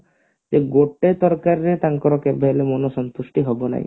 ସେ ଗୋଟେ ତରକାରୀ ରେ ତାଙ୍କର କେବେହେଲେ ମନ ସନ୍ତୁଷ୍ଟି ହେବ ନାହିଁ